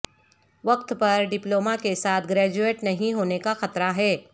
وقت پر ڈپلوما کے ساتھ گریجویٹ نہیں ہونے کا خطرہ ہے